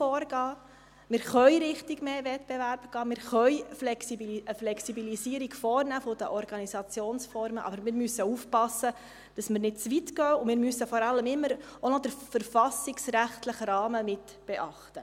Wir können in die Richtung von mehr Wettbewerb gehen, wir können eine Flexibilisierung der Organisationsformen vornehmen, aber wir müssen aufpassen, dass wir nicht zu weit gehen, und wir müssen vor allem immer auch noch den verfassungsrechtlichen Rahmen mitbeachten.